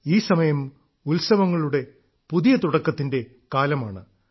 ഈ സമയം ഉത്സവങ്ങളുടെ പുതിയ തുടക്കത്തിന്റെ കാലമാണ്